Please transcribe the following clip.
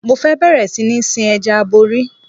Mo fẹ́ bẹ̀rẹ̀ sí ní sin Ẹja aborí.